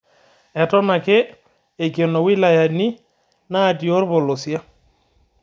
Eton ake eikeno wilayani natii olpolosie